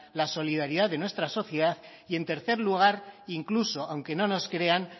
la solidaridad de nuestra sociedad y en tercer lugar incluso aunque no nos crean